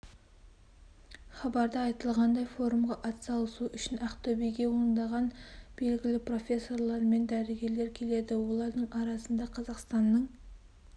хабарда айтылғандай форумға ат салысу үшін ақтөбеге ондаған белгілі профессорлар мен дәрігерлер келді олардың арасында қазақстанның